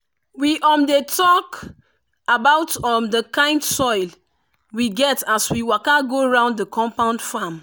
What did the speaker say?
we um dey talk about um the kind soil we get as we waka go round the compound farm.